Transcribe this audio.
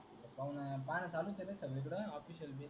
पाहण चालू केल न संगळीकड. official base. हाव न.